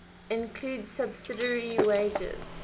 includes subsidiary wagers